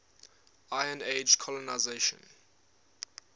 iron age colonisation